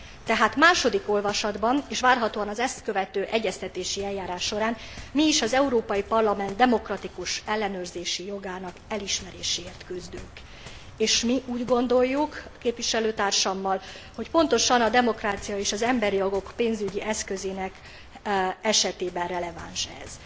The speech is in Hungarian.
Tehát második olvasatban, és várhatóan az ezt követő egyeztetési eljárás során mi is az Európai Parlament demokratikus ellenőrzési jogának elismeréséért küzdünk, és mi úgy gondoljuk, képviselőtársammal, hogy pontosan a demokrácia és az emberi jogok pénzügyi eszközének esetében releváns ez.